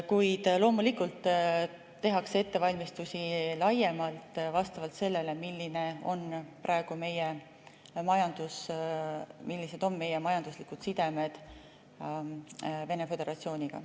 Kuid loomulikult tehakse ettevalmistusi laiemalt, vastavalt sellele, milline on praegu meie majandus ja millised on meie majanduslikud sidemed Vene Föderatsiooniga.